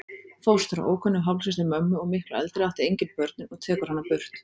Fóstra, ókunnug hálfsystir mömmu og miklu eldri, átti engin börnin og tekur hana burt.